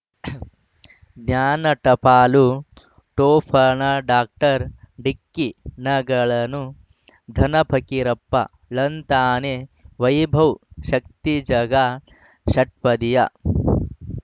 ಜ್ಞಾನ ಟಪಾಲು ಠೊಪಣ ಡಾಕ್ಟರ್ ಢಿಕ್ಕಿ ಣಗಳನು ಧನ ಫಕೀರಪ್ಪ ಳಂತಾನೆ ವೈಭವ್ ಶಕ್ತಿ ಝಗಾ ಷಟ್ಪದಿಯ